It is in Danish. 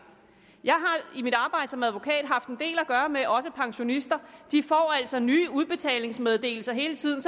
jeg har i mit arbejde som advokat også haft en del at gøre med pensionister de får altså nye udbetalingsmeddelelser hele tiden